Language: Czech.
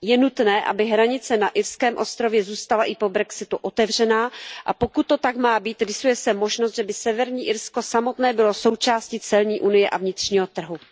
Je nutné, aby hranice na irském ostrově zůstala i po brexitu otevřená, a pokud to tak má být, rýsuje se možnost, že by Severní Irsko samotné bylo součástí celní unie a vnitřního trhu.